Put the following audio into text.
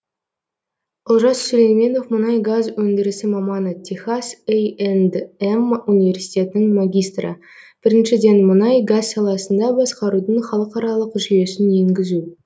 олжас сүлейменов мұнай газ өндірісі маманы техас а м университетінің магистрі біріншіден мұнай газ саласында басқарудың халықаралық жүйесін енгізу